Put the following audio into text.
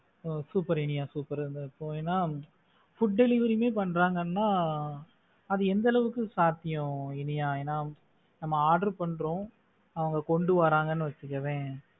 ஓ! super இனியா super ஏன்னா food delivery பண்றாங்கன்னா அது எந்த அளவுக்கு சாத்தியம் இனியா ஏன்னா நம்ம order பண்றோம் அதை கொண்டு வராங்கன்னு வச்சுக்கோவே.